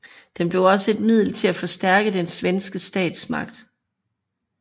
Den blev også et middel til at forstærke den svenske statsmagt